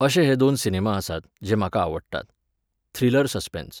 अशे हे दोन सिनेमा आसात, जे म्हाका आवडटात. Thriller suspense